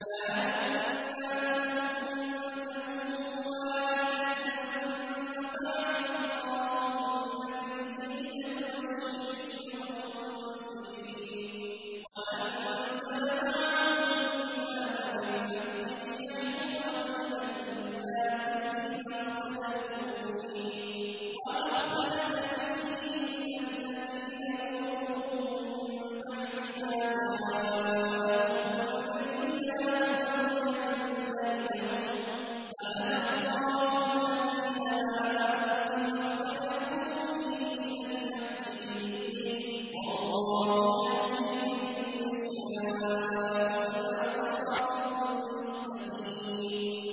كَانَ النَّاسُ أُمَّةً وَاحِدَةً فَبَعَثَ اللَّهُ النَّبِيِّينَ مُبَشِّرِينَ وَمُنذِرِينَ وَأَنزَلَ مَعَهُمُ الْكِتَابَ بِالْحَقِّ لِيَحْكُمَ بَيْنَ النَّاسِ فِيمَا اخْتَلَفُوا فِيهِ ۚ وَمَا اخْتَلَفَ فِيهِ إِلَّا الَّذِينَ أُوتُوهُ مِن بَعْدِ مَا جَاءَتْهُمُ الْبَيِّنَاتُ بَغْيًا بَيْنَهُمْ ۖ فَهَدَى اللَّهُ الَّذِينَ آمَنُوا لِمَا اخْتَلَفُوا فِيهِ مِنَ الْحَقِّ بِإِذْنِهِ ۗ وَاللَّهُ يَهْدِي مَن يَشَاءُ إِلَىٰ صِرَاطٍ مُّسْتَقِيمٍ